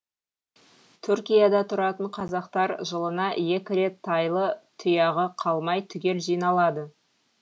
түркияда тұратын қазақтар жылына екі рет тайлы тұяғы қалмай түгел жиналады